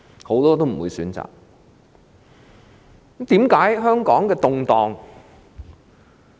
很多人不會選擇這樣做。